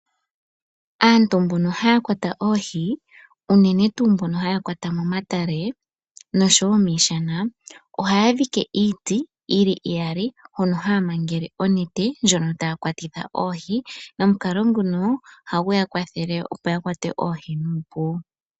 Aantu mbono hayankwata oohi unene tuu mbono haya kwata momatale noshowo miishana ohaya dhike iiti yili iyali hono haya mangele onenete ndjono tayabkwatitha oohi , nomukalo nguno ohagu ya kwathele opo ya kwate oohi nuupu.